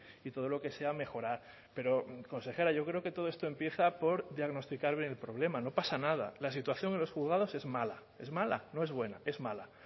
y todo lo que sea mejorar pero consejera yo creo que todo esto empieza por diagnosticar bien el problema no pasa nada la situación en los juzgados es mala es mala no es buena es mala